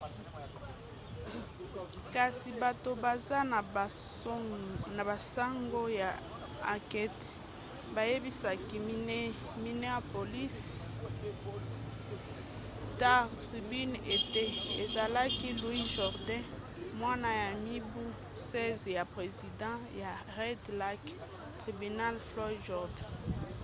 kasi bato baza na basango ya ankete bayebisaki minneapolis star-tribune ete ezalaki louis jourdain mwana ya mibu 16 ya president ya red lake tribal floyd jourdain